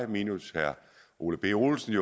minus herre ole birk olesen